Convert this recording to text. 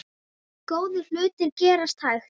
Góðir hlutir gerast hægt.